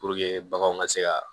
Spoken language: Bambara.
baganw ka se ka